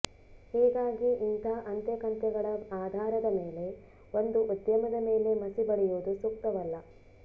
ಹೀಗಾಗಿ ಇಂಥ ಅಂತೆಕಂತೆಗಳ ಆಧಾರ ಮೇಲೆ ಒಂದು ಉದ್ಯಮದ ಮೇಲೆ ಮಸಿ ಬಳಿಯುವುದು ಸೂಕ್ತವಲ್ಲ